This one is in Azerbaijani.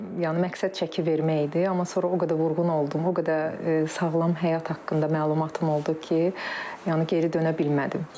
Yəni məqsəd çəki vermək idi, amma sonra o qədər vurğun oldum, o qədər sağlam həyat haqqında məlumatım oldu ki, yəni geri dönə bilmədim.